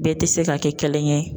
Bɛɛ tɛ se ka kɛ kelen ye